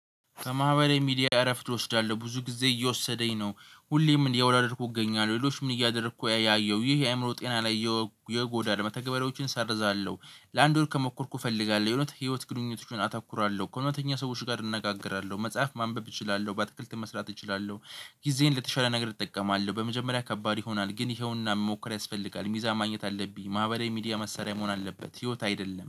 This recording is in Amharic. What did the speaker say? ከማህበራዊ ሚዲያ እረፍት እወስዳለሁ ብዙ ጊዜ እየወሰደኝ ነው ሁሌም እያወዳደርኩ እገኛለሁ ሌሎች ምን እያደረኩ ያየሁ ይሄ የአእምሮ ጤና ላይ ይጎዳል። መተግበሪያዎችን እሰርዛለሁ ለአንድ ወር ከሞከርኩ እፈልጋለሁ የሆነ ህይወት ግንኙነቶችን አተኩራለሁ ከእውነተኛ ሰዎች ጋር እንነጋገራለሁ መጽሐፍ ማንበብ እችላለሁ በአትክልትም መስራት እችላለሁ። ጊዜዬን ለተሻለ ነገር እጠቀማለሁ በመጀመሪያ ከባድ ይሆናል ግን ይኸውና መሞከር ያስፈልጋል። ሚዛን ማግኘት አለብኝ ማህበራዊ ሚዲያ መሳሪያ መሆን አለበት።